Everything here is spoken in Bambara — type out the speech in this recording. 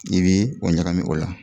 I bɛ o ɲagami o la.